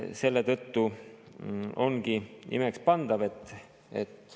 Selletõttu ongi imekspandav, et …